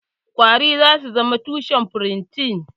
Ƙwari zasu zama tushen furotin.